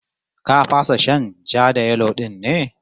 Ka fasa shan ja-da-yelo din ne?